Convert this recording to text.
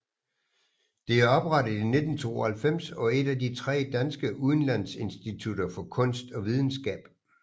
Det er oprettet i 1992 og et af de tre danske udlandsinstitutter for kunst og videnskab